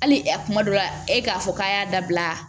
Hali a kuma dɔ la e k'a fɔ k'a y'a dabila